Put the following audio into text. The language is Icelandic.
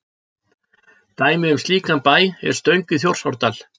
Dæmi um slíkan bæ er Stöng í Þjórsárdal.